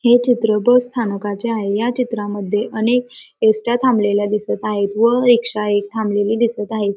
हे चित्र बस स्थानकाचे आहे ह्या चित्रामध्ये अनेक एस.ट्या. थमलेल्या दिसत आहेत व रिक्शाही थामलेली दिसत आहे.